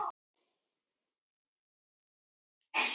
Konan neri saman höndunum svo hnúarnir hvítnuðu